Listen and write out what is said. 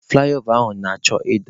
Fụlaịova ahụ na-achọ ịda.